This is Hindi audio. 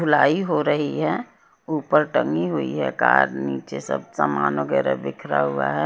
धुलाई हो रही है ऊपर टंगी हुई है कार नीचे सब सामान वगैरह बिखरा हुआ है।